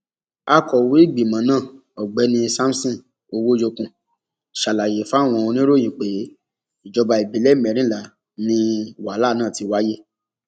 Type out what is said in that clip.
akọwé ìgbìmọ náà ọgbẹni samson owòyokun ṣàlàyé fáwọn oníròyìn pé ìjọba ìbílẹ mẹrìnlá ni wàhálà náà ti wáyé